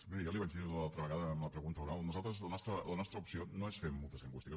miri jo ja li ho vaig dir l’altra vegada en la pregunta oral nosaltres la nostra opció no és fer multes lingüístiques